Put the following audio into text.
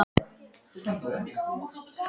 Gangi þér allt í haginn, Elba.